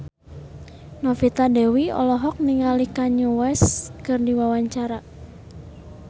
Novita Dewi olohok ningali Kanye West keur diwawancara